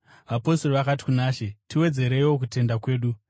Vapostori vakati kuna She, “Tiwedzereiwo kutenda kwedu!”